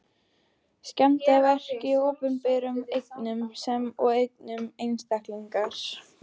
Skemmdarverk á opinberum eignum sem og eignum einstaklinga.